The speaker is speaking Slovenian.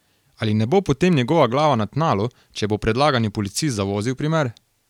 Ali ne bo potem njegova glava na tnalu, če bo predlagani policist zavozil primer?